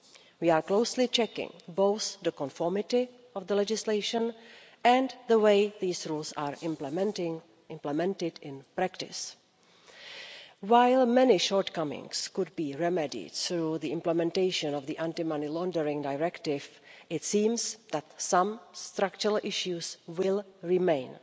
We are closely checking both the conformity of the legislation and the way these rules are implemented in practice. While many shortcomings could be remedied through the implementation of the Anti Money Laundering Directive, it seems that some structural issues will remain.